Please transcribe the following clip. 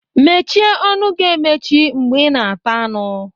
Mmechi ọnụ gi emechi mgbe ị na-ata anụ!